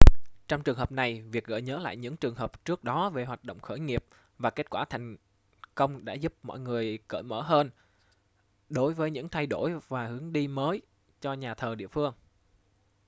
trong trường hợp này việc gợi nhớ lại những trường hợp trước đó về hoạt động khởi nghiệp và kết quả thành công đã giúp mọi người cởi mở hơn đối với những thay đổi và hướng đi mới cho nhà thờ địa phương